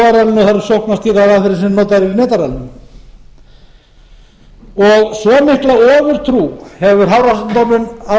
eru sóknarstýrðar aðferðir sem notaðar eru á og á sömu ofurtrú hefur hafrannsóknastofnum á